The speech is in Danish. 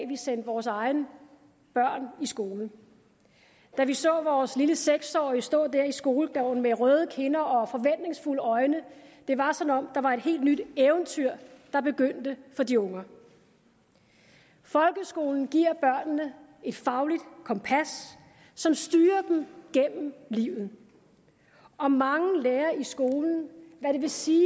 vi sendte vores egne børn i skole da vi så vores lille seks årige stå der i skolegården med røde kinder og forventningsfulde øjne det var som om der var et helt nyt eventyr der begyndte for de unger folkeskolen giver børnene et fagligt kompas som styrer dem gennem livet og mange lærer i skolen hvad det vil sige